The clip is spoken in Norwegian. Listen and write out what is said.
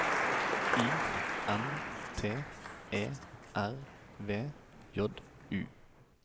I N T E R V J U